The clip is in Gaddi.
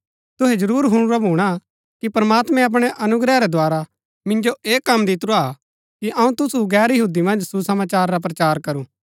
तुहै जरूर हुणुरा भूणा कि प्रमात्मैं अपणै अनुग्रह रै द्धारा मिन्जो ऐह कम दितुरा हा कि अऊँ तुसु गैर यहूदी मन्ज सुसमाचार रा प्रचार करूं